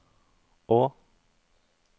å